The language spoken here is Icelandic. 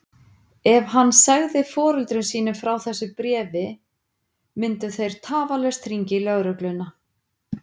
Ef hann segði foreldrum sínum frá þessu bréfi myndu þeir tafarlaust hringja í lögregluna.